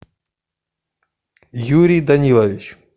юрий данилович